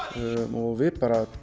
og við